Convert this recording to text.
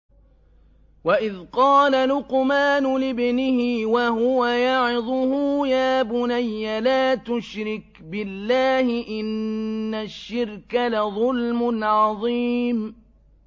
وَإِذْ قَالَ لُقْمَانُ لِابْنِهِ وَهُوَ يَعِظُهُ يَا بُنَيَّ لَا تُشْرِكْ بِاللَّهِ ۖ إِنَّ الشِّرْكَ لَظُلْمٌ عَظِيمٌ